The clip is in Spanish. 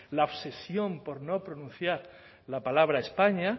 la obsesión por no pronunciar la palabra españa